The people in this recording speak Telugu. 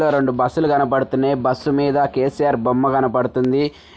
ఇక్కడ రెండు బస్సు లు కనబడుతున్నాయి బస్సు మీద కె_సి_ఆర్ బొమ్మ కనబడుతుంది